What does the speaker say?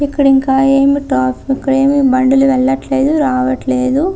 ఇక్కడ ఇంకా ఏం ట్రాఫి ఇక్కడ ఇంకా ఏం బండ్లు రావట్లేదు వెళ్లట్లేదు.